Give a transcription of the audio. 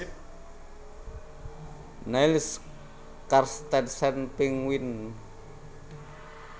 Niels Carstensen Pinguine